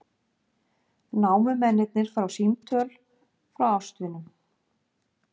Námumennirnir fá símtöl frá ástvinum